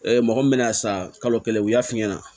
mɔgɔ min bɛna sa kalo kelen u y'a f'i ɲɛna